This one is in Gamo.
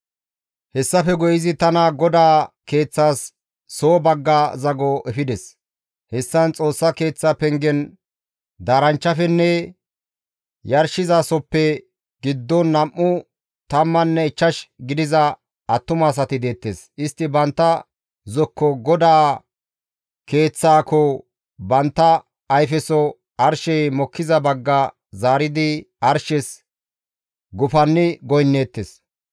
Hessafe guye izi tana GODAA keeththas soo bagga zago efides; hessan Xoossa Keeththa pengen daaranchchafenne yarshizasohoppe giddon nam7u tammanne ichchash gidiza attumasati deettes; istti bantta zokko GODAA keeththakko, bantta ayfeso arshey mokkiza bagga zaaridi arshes gufanni goynneettes.